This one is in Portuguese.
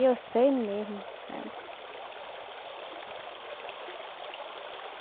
E eu sei mesmo, sabe?